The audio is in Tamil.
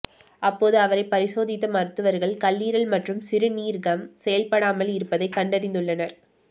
அப்போது அவரை பரிசோதித்த மருத்துவர்கள் கல்லீரல் மற்றும் சிறுநீர்கம் செயல்படாமல் இருப்பதை கண்டறிந்துள்ளனர்